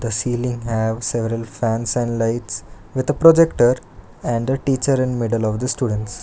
The ceiling have several fans and lights with the projector and the teacher and middle of the students.